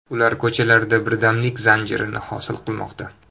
Ular ko‘chalarda birdamlik zanjirini hosil qilmoqda.